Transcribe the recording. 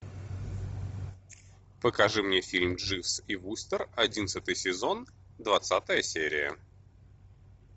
покажи мне фильм дживс и вустер одиннадцатый сезон двадцатая серия